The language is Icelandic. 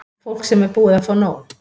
Fólk sem er búið að fá nóg.